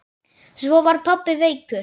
Svo var pabbi veikur.